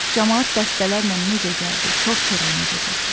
Camaat dəstələrlə necə gəldi, kor-koranə gedirdi.